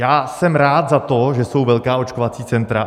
Já jsem rád za to, že jsou velká očkovací centra.